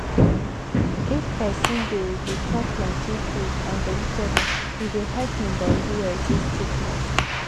if persin dey dey chop plenty fruit and vegetable e dey help hin body resist sickness.